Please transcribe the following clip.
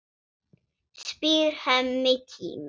spyr Hemmi kíminn.